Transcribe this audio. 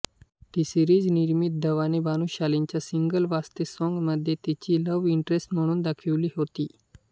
टीसीरिज निर्मित धवानी भानुशालीच्या single Vaaste song मध्ये तिची लव्ह इंटरेस्ट म्हणून दाखविली होती